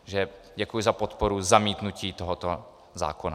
Takže děkuji za podporu zamítnutí tohoto zákona.